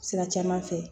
Sira caman fɛ